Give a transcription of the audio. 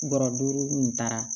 Bɔrɔ duuru nin taara